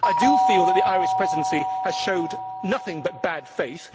I do feel that the Irish Presidency has shown nothing but bad faith.